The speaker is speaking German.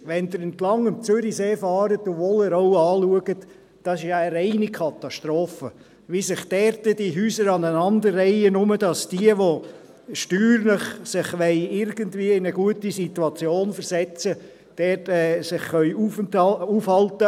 Wenn Sie am Zürichsee entlangfahren und Wollerau anschauen, ist es ja eine reine Katastrophe, wie sich dort diese Häuser aneinanderreihen, nur damit sich diejenigen, die sich steuerlich irgendwie in eine gute Situation versetzen wollen, dort aufhalten können.